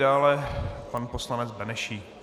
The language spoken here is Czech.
Dále pan poslanec Benešík.